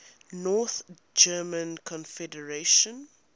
north german confederation